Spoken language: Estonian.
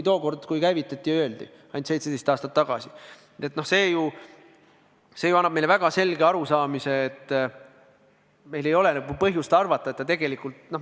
See ju annab meile väga selge arusaamise, et meil ei ole põhjust arvata, et see tegelikult nii läheb.